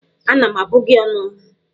Ana m abụ gị ónù!